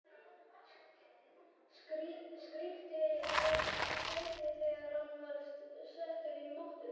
Skríkti af kæti þegar hann var settur á mottuna.